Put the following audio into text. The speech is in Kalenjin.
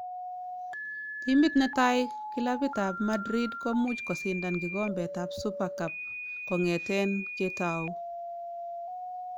Timit netai kilapit ab Madrid komuch kosindan kikombet ab Super Cup kongeten ketauu